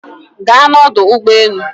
ga na ọdụ ụgbọ enu!